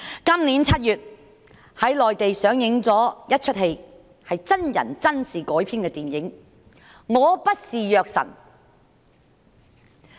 今年7月內地上映了一齣真人真事改編的電影"我不是藥神"。